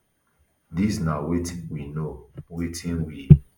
dis na wetin we know wetin we